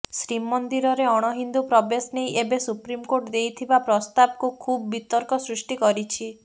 ଶ୍ରୀମନ୍ଦିରରେ ଅଣହିନ୍ଦୁ ପ୍ରବେଶ ନେଇ ଏବେ ସୁପ୍ରିମକୋର୍ଟ ଦେଇଥିବା ପ୍ରସ୍ତାବକୁ ଖୁବ୍ ବିତର୍କ ସୃଷ୍ଟି କରିଛି